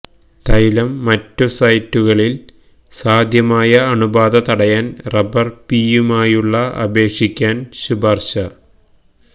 തൈലം മറ്റ് സൈറ്റുകളിൽ സാധ്യമായ അണുബാധ തടയാൻ റബർ പിയുമായുള്ള അപേക്ഷിക്കാൻ ശുപാർശ